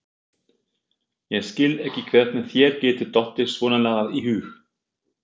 Ég skil ekki hvernig þér getur dottið svonalagað í hug!